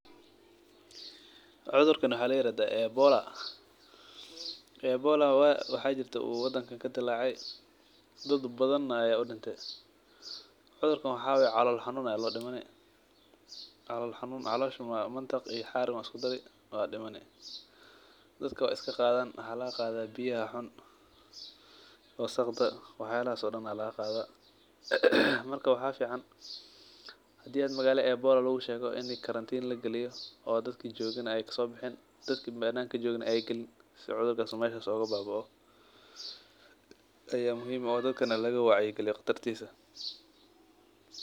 Cudhurkan waxaa layirahda ebola, ebola waxaa jirta waqti u wadanka kadilace dad badan aya udinten dadbadana calol xanun aya dile calosha mataq iyo xar iyo ba isku dari waa dimani wasaqa aya laga qadha biyaha xun wasaqda waxyalas oo dan ba laga qadha ee marka waxa fican hadii magala ebola lagu shego in karatin lagaliyo oo dadka jogana ee sobixin dadka bananka jogana ee galin si cudhurka mesha u oga babao aya muhiim ah oo dadkana laga wacya galiyo qatartisa.